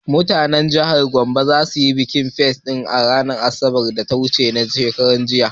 Mutanen jihar Gombe za su yi bikin ''Pissi tangle'' a ranar asabar ta karshe a cikin watan nan na disamba